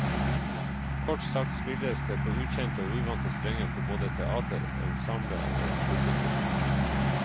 Kort sagt spilles det på ukjente og uvante strenger for både teater, ensemble og publikum.